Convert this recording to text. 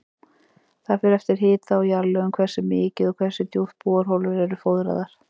Það fer eftir hita og jarðlögum hversu mikið og hversu djúpt borholur eru fóðraðar.